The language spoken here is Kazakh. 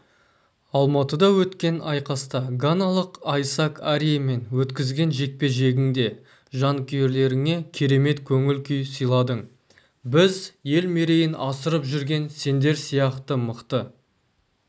алматыда өткен айқаста ганалық айсак ариемен өткізген жекпе-жегіңде жанкүйерлеріңе керемет көңіл күй сыйладың біз ел мерейін асырып жүрген сендер сияқты мықты